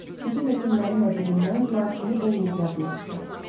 Bütün həkimlərin də dilindən dua kimi eyni diaqnoz çıxır.